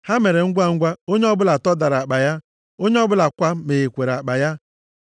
Ha mere ngwangwa, onye ọbụla tọdatara akpa ya. Onye ọbụla kwa meghere akpa ya.